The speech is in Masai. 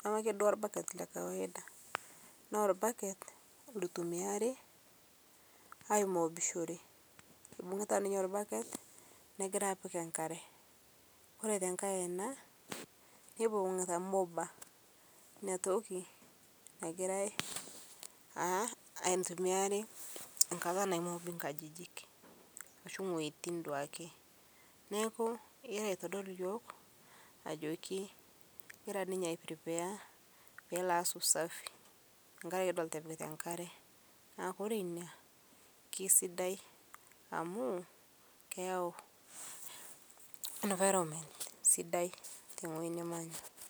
Neme ake duo orbaket lekawaida naa orbaket loitumiari aimoobishore . Ekibungita ninye orbaket negira apik enkare . Koree tee enkae aina nibungita mopper . Inatoki nagirae naaitumiari nkata naimobi inkajijik ashu wuejitin duake. Neaku egira aitodol iyiok ajoki egira ninye ai prepare peelo aas usafi. Kidolita epikita enkare. Naa ore ina kisidai amu, keyau environment sidai tenewueji nimanya.